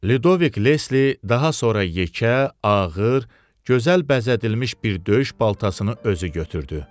Lidovik Lesli daha sonra yekə, ağır, gözəl bəzədilmiş bir döyüş baltasını özü götürdü.